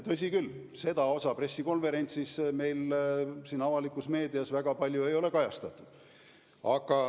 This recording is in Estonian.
Tõsi küll, seda osa pressikonverentsist meil avalikus meedias väga palju ei ole kajastatud.